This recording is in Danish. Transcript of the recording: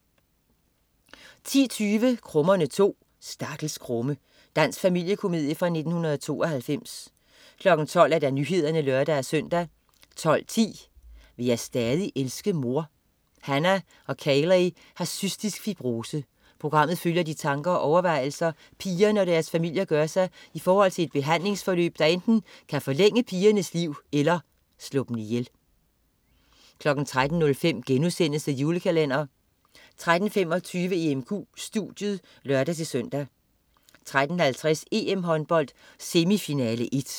10.20 Krummerne 2. Stakkels krumme. Dansk familiekomedie fra 1992 12.00 Nyhederne (lør-søn) 12.10 Vil jeg stadig elske mor? Hannah og Kayley har cystisk fibrose. Programmet følger de tanker og overvejelser, pigerne og deres familier gør sig i forhold til et behandlingsforløb, der enten kan forlænge pigernes liv eller slå dem ihjel 13.05 The Julekalender* 13.25 EMQ studiet (lør-søn) 13.50 EM-håndbold: Semifinale 1